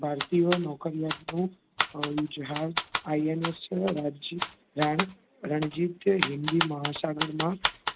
ભારતીયઓ નોકરયાટનું અમ જહાજ INS છે રાજ્ય રાનત રણજીત હિંદી મહાસાગરમાં,